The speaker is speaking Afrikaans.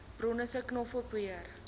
bronne sê knoffelpoeier